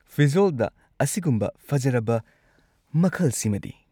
ꯐꯤꯖꯣꯜꯗ ꯑꯁꯤꯒꯨꯝꯕ ꯐꯖꯔꯕ ꯃꯈꯜꯁꯤꯃꯗꯤ!